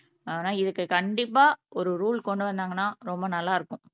ஆனா இதுக்கு கண்டிப்பா ஒரு ரூல் கொண்டு வந்தாங்கன்னா ரொம்ப நல்லா இருக்கும்